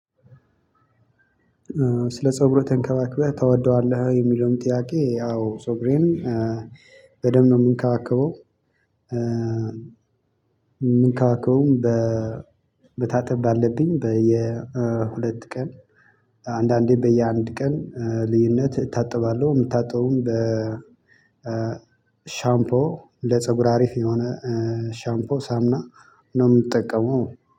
ስለ ፀጉርህ ተንከባክበህ ታወቀዋለህ የሚለውን ጥያቄ አዎ ፀጉሬን በደንብ ነው የምንከባከበው። የምንከባከበውም በ በመታጠብ ካለብኝ በየሁለት ቀን አንዳንዴ በየአንድ ቀን ልዩነት እታጠባለሁ። የምታጠበውም በ ሻምፖ ለፀጉር አሪፍ የሆነ ሻምፖ ሳሙና ነው የምጠቀመው